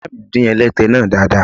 Ìyáàmi dín ẹlẹ́tẹ náà dáadáa.